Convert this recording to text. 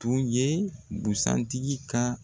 Tun ye busan tigi ka